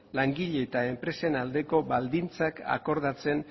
langile eta enpresen arteko baldintzak akordatzen